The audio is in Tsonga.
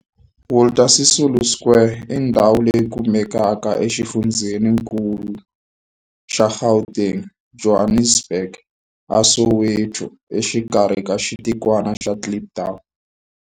Walter Sisulu Square i ndhawu leyi kumekaka exifundzheninkulu xa Gauteng, Johannesburg, a Soweto, exikarhi ka xitikwana xa Kliptown.